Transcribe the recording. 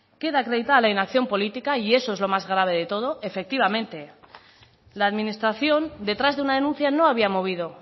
queda acreditada la inacción política y eso es lo más grave de todo efectivamente la administración detrás de una denuncia no había movido